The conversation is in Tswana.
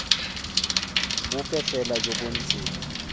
bope fela jo bo ntseng